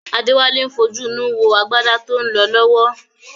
Adéwálé ń fojú inú wo agbádá tó ń lọ lọ́wọ́